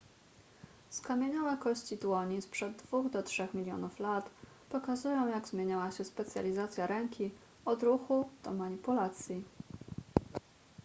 skamieniałe kości dłoni sprzed dwóch do trzech milionów lat pokazują jak zmieniała się specjalizacja ręki od ruchu do manipulacji